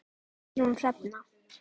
Guðrún Hrefna.